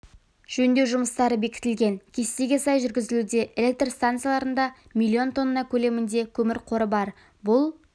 жөндеу жұмыстары бекітілген кестеге сай жүргізілуде электр стансаларында миллион тонна көлемінде көмір қоры бар бұл